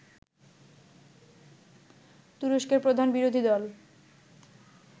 তুরস্কের প্রধান বিরোধী দল